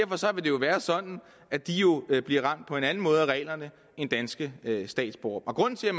jo være sådan at de bliver ramt på en anden måde af reglerne end danske statsborgere grunden til at